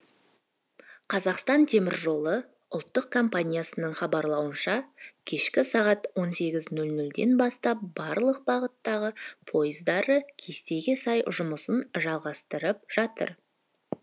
қазақстан теміржолы ұлттық компаниясының хабарлауынша кешкі сағат он сегіз нөл нөлден бастап барлық бағыттағы пойыздары кестеге сай жұмысын жалғастырып жатыр